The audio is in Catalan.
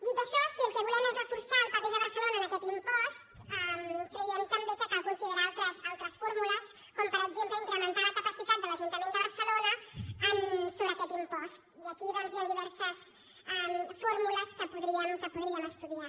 dit això si el que volem és reforçar el paper de barcelona en aquest impost creiem també que cal considerar altres fórmules com per exemple incrementar la capacitat de l’ajuntament de barcelona sobre aquest impost i aquí doncs hi han diverses fórmules que podríem estudiar